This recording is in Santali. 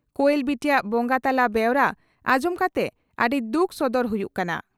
ᱠᱚᱭᱮᱞ ᱵᱤᱴᱤᱭᱟᱜ ᱵᱚᱸᱜᱟ ᱛᱟᱞᱟ ᱵᱮᱣᱨᱟ ᱟᱸᱡᱚᱢ ᱠᱟᱛᱮ ᱟᱹᱰᱤ ᱫᱩᱠ ᱥᱚᱫᱚᱨ ᱦᱩᱭᱩᱜ ᱠᱟᱱᱟ ᱾